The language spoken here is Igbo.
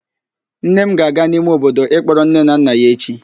Nne m ga-aga n'ime obodo ịkpọrọ nne na nna ya echi.